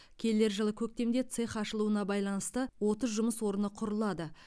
келер жылы көктемде цех ашылуына байланысты отыз жұмыс орны құрылады